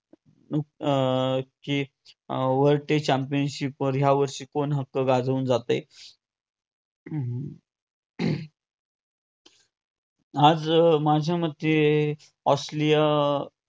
अं की अं world trade championship वर वर्षी कोण हक्क गाजवून जातयं. हम्म हम्म आज माझ्यामते ऑस्ट्रेलिया